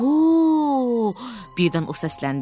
O, birdən o səsləndi.